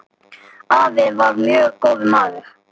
Afi var mjög góður maður.